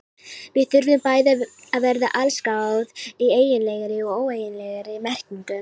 Við þurfum bæði að verða allsgáð í eiginlegri og óeiginlegri merkingu.